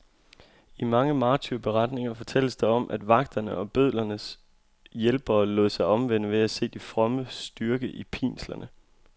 I mange martyrberetninger fortælles der om, at vagterne og bødlernes hjælpere lod sig omvende ved at se de frommes styrke i pinslerne.